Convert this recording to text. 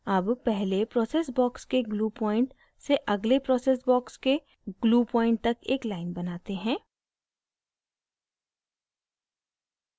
अब पहले process box के glue point से अगले process box के glue point तक एक line बनाते हैं